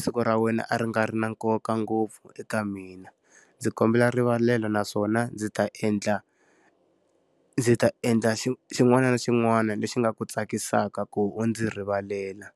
siku ra wena a ri nga ri na nkoka ngopfu eka mina. Ndzi kombela rivalelo naswona ndzi ta endla ndzi ta endla xin'wana na xin'wana lexi nga ku tsakisaka ku u ndzi rivalela.